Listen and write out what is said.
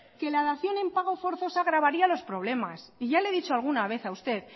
que la dación en pago forzosa agravaría los problemas y ya le he dicho alguna vez a usted